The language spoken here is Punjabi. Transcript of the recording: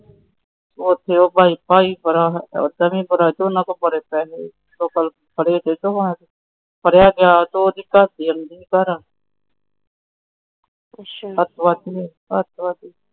ਉਹਨਾਂ ਕੋਲ ਬੜੇ ਪੈਸੇ ਆ।